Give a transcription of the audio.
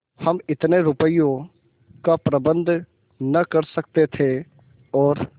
हम इतने रुपयों का प्रबंध न कर सकते थे और